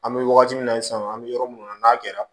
An bɛ wagati min na i sisan an bɛ yɔrɔ minnu na n'a kɛra